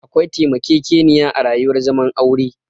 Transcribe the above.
Akwai taimakekeniya a rayuwar zaman aure